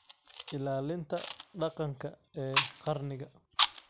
Ilaalinta dhaqanka ee qarniga.